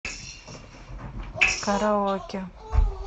караоке